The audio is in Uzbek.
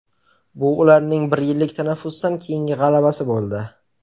Bu ularning bir yillik tanaffusdan keyingi g‘alabasi bo‘ldi.